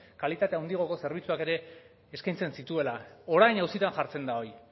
kalitate handiagoko zerbitzuak ere eskaintzen zituela orain auzitan jartzen da hori